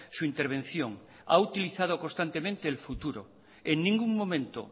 su intervención ha utilizado constantemente el futuro en ningún momento